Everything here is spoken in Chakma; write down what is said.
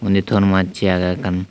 he ton massey agey ekkan.